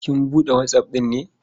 Kin buɗe WhatsApp ɗin ne?